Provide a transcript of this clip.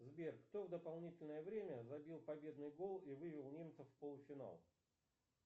сбер кто в дополнительное время забил победный гол и вывел немцев в полуфинал